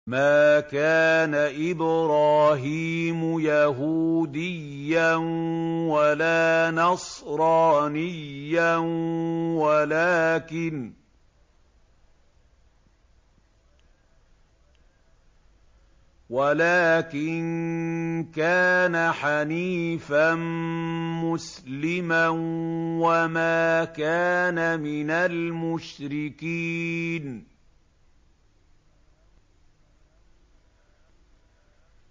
مَا كَانَ إِبْرَاهِيمُ يَهُودِيًّا وَلَا نَصْرَانِيًّا وَلَٰكِن كَانَ حَنِيفًا مُّسْلِمًا وَمَا كَانَ مِنَ الْمُشْرِكِينَ